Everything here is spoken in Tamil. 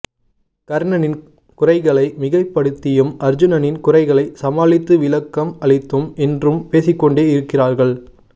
கர்ணனின் குறைகளை மிகைப்படுத்தியும் அர்ஜுனனின் குறைகளை சமாளித்து விளக்கம் அளித்தும் இன்றும் பேசிக்கொண்டே இருக்கிறார்கள்